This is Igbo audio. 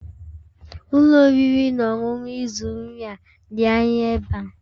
Ụlọ oriri na ọṅụṅụ ị zụrụ nri a dị anya ebe a?